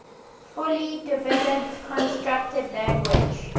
fully developed constructed language